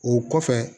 O kɔfɛ